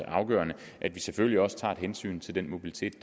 afgørende at vi selvfølgelig også tager et hensyn til den mobilitet